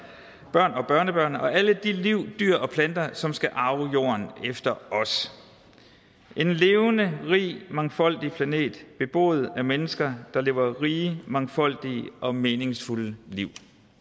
børn og børnebørn og alle de liv dyr og planter som skal arve jorden efter os en levende rig mangfoldig planet beboet af mennesker der lever rige mangfoldige og meningsfulde liv